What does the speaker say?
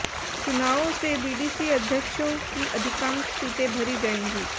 चुनावों से बीडीसी अध्यक्षों की अधिकांश सीटें भरी जाएंगी